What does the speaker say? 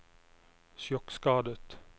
sjokkskadet